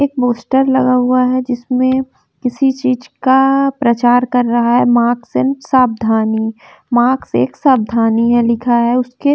एक पोस्टर लगा हुआ है जिसमें किसी चीज़ का प्रचार कर रहा है मास्क एंड सावधानी मास्क एक सावधानी है लिखा है उसके --